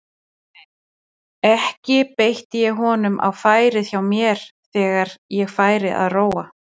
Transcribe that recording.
Ekki beitti ég honum á færið hjá mér þegar ég færi að róa.